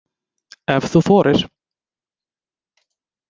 Ef þú þorir!